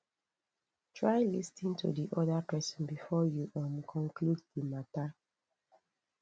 try lis ten to di other person before you um conclude di matter